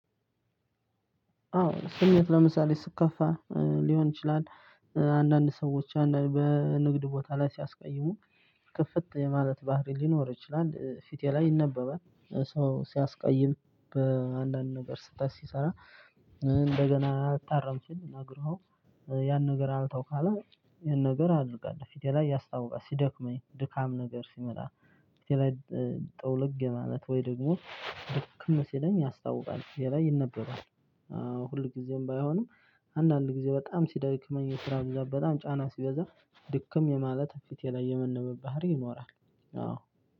አዎ ስሜት ለምሳሌ ስከፋ ሊሆን ይችላል አንዳንድ ሰዎች አንዳንድ በንግድ ቦታ ላይ ሲያስቀይሙ ክፍት የማለት ባህሪ ሊኖር ይችላል ፊቴ ላይ ይነበባል። ሰው ሲያስቀይም በአንዳንድ ነገር ስተት ሲሰራ እንደገና አልታረም ሲል ነግረህው። ያን ነገር አልተው ካለ ይሄን ነገር አደርጋለው ፊቴ ላይ ያስታውቃል። ሲደክመኝ ድካም ነገር ሲመጣ ፊቴ ላይ ጥውልግ የማለት ወይ ደግሞ ድክም ሲለኝ ያስታውቃል ፊቴ ላይ ይነበረዋል። አዎ ሁልጊዜም ባይሆንም። አንዳንድ ጊዜ በጣም ሲደክመኝ የስራ ብዛት በጣም ጫና ሲበዛ ድክም የማለት ፊቴ ላይ የመነበብ ባህሪ ይኖራል። አዎ